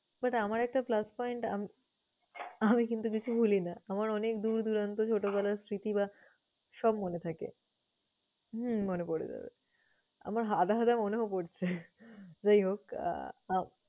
But আমার একটা plus point আম~ আমি কিন্তু কিছু ভুলি না। আমার অনেক দূরন্ত ছোটবেলার স্মৃতি বা সব মনে থাকে। হম মনে পরে যাবে। আমার আধা আধা মনেও পরছে। যাইহোক আহ